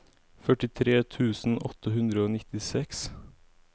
førtitre tusen åtte hundre og nittiseks